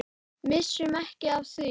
Missum ekki af því.